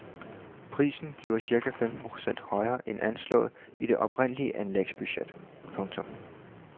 Prisen bliver cirka femten procent højere end anslået i det oprindelige anlægsbudget. punktum